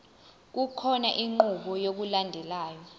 kukhona inqubo yokulandelayo